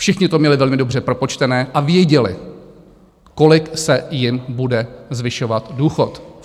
Všichni to měli velmi dobře propočtené a věděli, kolik se jim bude zvyšovat důchod.